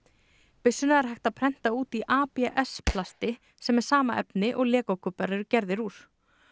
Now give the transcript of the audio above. byssuna er hægt að prenta út í ABS plasti sem er sama efni og legókubbar eru gerðir úr